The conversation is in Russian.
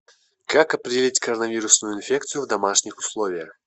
как определить короновирусную инфекцию в домашних условиях